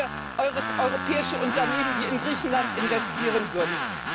Da hätten wir europäische Unternehmen, die in Griechenland investieren würden.